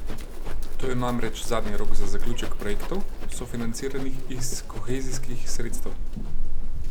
To je namreč zadnji rok za zaključek projektov, sofinanciranih iz kohezijskih sredstev.